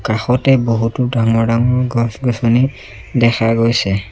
কাষতে বহুতো ডাঙৰ ডাঙৰ গছ গছনি দেখা গৈছে।